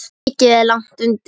Mikið er lagt undir.